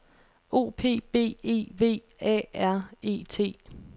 O P B E V A R E T